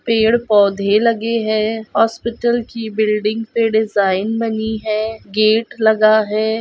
पेड़ पौधे लगे है हॉस्पिटल की बिल्डिंग पे डिज़ाइन बनी है गेट लगा है।